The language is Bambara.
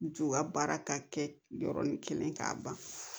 U ka baara ka kɛ yɔrɔnin kelen k'a ban